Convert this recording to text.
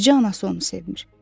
Bircə anası onu sevmir.